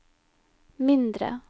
mindre